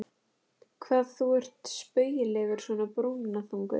Hvað þú ert spaugilegur svona brúnaþungur!